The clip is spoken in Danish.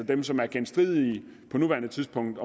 dem som er genstridige på nuværende tidspunkt